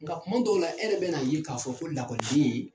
Nka kuma dɔw la e yɛrɛ bɛ na ye k'a fɔ ko lakɔliden.